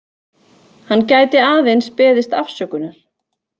Hann gæti aðeins beðist afsökunar